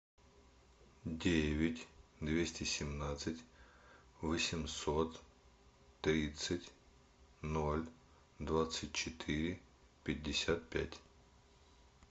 девять двести семнадцать восемьсот тридцать ноль двадцать четыре пятьдесят пять